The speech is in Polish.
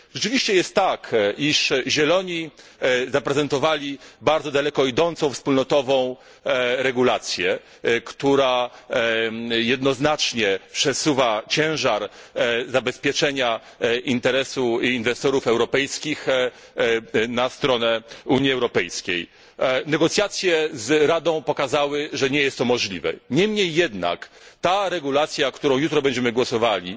Rzeczywiście jest tak, iż Zieloni zaprezentowali bardzo daleko idącą wspólnotową regulację, która jednoznacznie przesuwa ciężar zabezpieczenia interesu inwestorów europejskich na stronę Unii Europejskiej. Negocjacje z Radą pokazały, że nie jest to możliwe. Niemniej jednak ta regulacja, nad którą jutro będziemy głosowali,